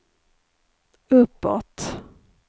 uppåt